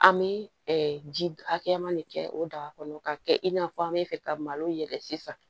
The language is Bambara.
An bɛ ji hakɛya ma de kɛ o daga kɔnɔ k'a kɛ i n'a fɔ an bɛ fɛ ka malo yɛlɛ sisan